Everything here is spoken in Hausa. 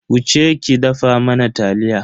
Wuce ki dafa mana taliya.